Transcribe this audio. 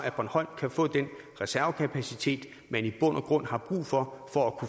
bornholm kan få den reservekapacitet man i bund og grund har brug for for